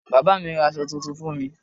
Bàbá mi ra aṣọ tuntun fún mi.